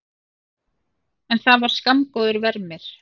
En það var skammgóður vermir.